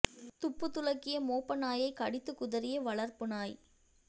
துப்பு துலக்கிய மோப்ப நாயை கடித்து குதறிய வளர்ப்பு நாய்